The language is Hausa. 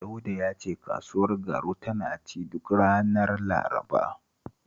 Dauda ya ce kasuwar Garu tana ci duk ranar Laraba